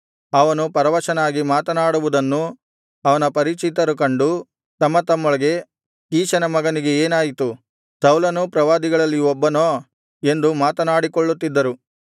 ಅವನು ಪರವಶನಾಗಿ ಮಾತನಾಡುವುದನ್ನು ಅವನ ಪರಿಚಿತರು ಕಂಡು ತಮ್ಮ ತಮ್ಮೊಳಗೆ ಕೀಷನ ಮಗನಿಗೆ ಏನಾಯಿತು ಸೌಲನೂ ಪ್ರವಾದಿಗಳಲ್ಲಿ ಒಬ್ಬನೋ ಎಂದು ಮಾತನಾಡಿಕೊಳ್ಳುತ್ತಿದ್ದರು